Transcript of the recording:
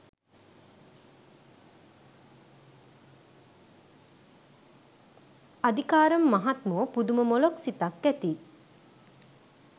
අදිකාරම් මහත්මෝ පුදුම මොළොක් සිතක් ඇති